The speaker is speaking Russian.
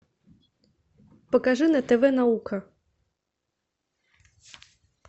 покажи на тв наука